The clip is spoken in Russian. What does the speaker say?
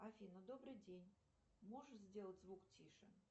афина добрый день можешь сделать звук тише